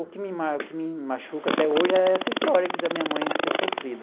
O que me ma o que me machuca até hoje é essa história da minha mãe ter sofrido.